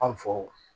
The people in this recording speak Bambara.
An faw